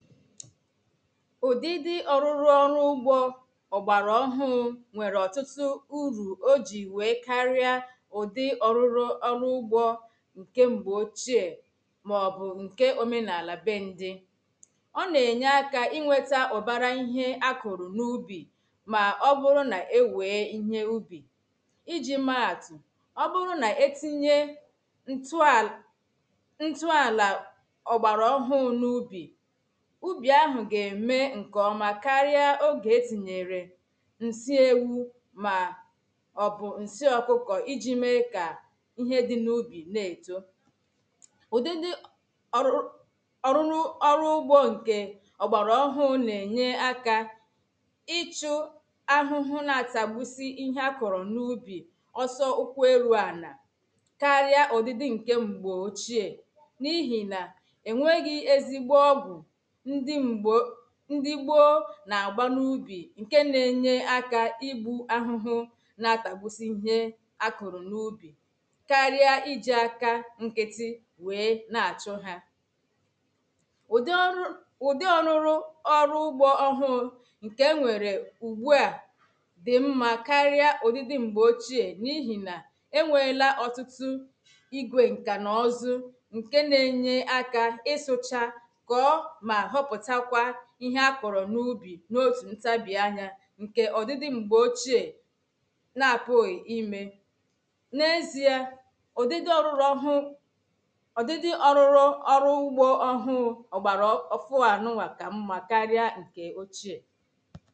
ụdịdị ọrụrụ ọrụ ugbo ọgbara ọhụụ nwere ọtụtụ uru o ji wee karịa ụdị ọrụrụ ọrụ ugbo nke mgbe ochie maọbụ nke omenala bendi ọ na-enye aka inweta ọbara ihe akụrụ n’ubi ma ọ bụrụ na-ewe ihe ubi iji maatụ ọ bụrụ na etinye ntụ a.. ntụ ala ọgbara ọhụ n’ubi ubi ahụ ga-eme nke ọma karịa oge etinyere nsị ewu ma ọ bụ nsị ọkụkọ iji mee ka ihe dị n’ubi na-eto ụdịdị ọrụrụ ọrụ ugbo nke ọgbara ọhụụ na-enye aka ịchụ ahụhụ na-atagbusi ihe akọrọ n’ubi ọsọ ụkwụ eru ana karịa ụdịdị nke mgbe ochie n’ihi na enweghị ezigbo ọgwụ ndị gboo na-agba n’ubi ǹke na-enye aka ibu ahụhụ na-atagbusi ihe a kụrụ n’ubi karịa iji aka nkịtị wee na-achọ ha ụdị ọrụ ụdị ọrụrụ ọrụ ugbo ọhụụ ǹke enwere ugbu a dị mma karịa ụdị dị mgbe ochie n’ihi na enweela ọtụtụ igwe nkà na ọzụ ǹke na-enye aka ịsụcha n’otù ntabianya ǹkè ọdịdị m̀gbè ochie na-apụghị̀ imè n’ezie ụdịdị ọrụrụ ọhụ ọdịdị ọrụrụ ọrụ ugbo ọhụ ọgbara ọ ofuwa na ume ka mma karịa ǹkè ochie